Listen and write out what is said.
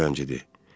O qaçaq zəncidir.